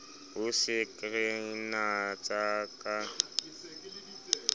o sa re natsa ka